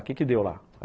O que que deu lá?